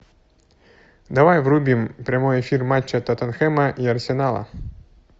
давай врубим прямой эфир матча тоттенхэма и арсенала